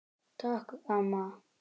Takk, amma.